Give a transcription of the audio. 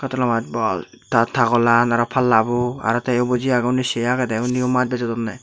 ta tagolan aro palla bu aro tay o boji agon undi say agede undi o maj bejodonne.